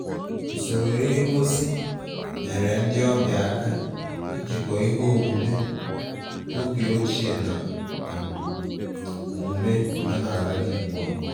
Usoro ihe ngosi’ nyeere ndị ọbịa aka ijikọ ihe omume oge ochie na um omume omenala dị ugbu a